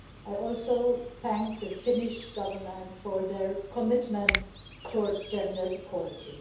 I also thank the Finnish Government for their commitment towards gender equality.